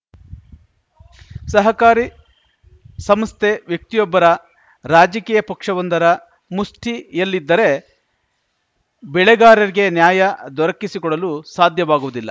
ಸಹಕಾರಿ ಸಂಸ್ಥೆ ವ್ಯಕ್ತಿಯೊಬ್ಬರ ರಾಜಕೀಯ ಪಕ್ಷವೊಂದರ ಮುಷ್ಟಿಯಲ್ಲಿದ್ದರೆ ಬೆಳೆಗಾರರಿಗೆ ನ್ಯಾಯ ದೊರಕಿಸಿಕೊಡಲು ಸಾಧ್ಯವಾಗುವುದಿಲ್ಲ